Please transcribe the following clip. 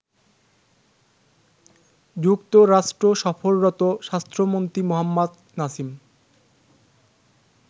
যুক্তরাষ্ট্র সফররত স্বাস্থ্যমন্ত্রী মোহাম্মদ নাসিম